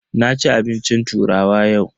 Na ci abincin turawa yau.